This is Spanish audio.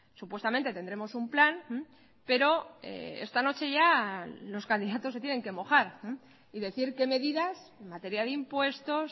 supuestamente tendremos un plan pero esta noche ya los candidatos se tienen que mojar y decir qué medidas en materia de impuestos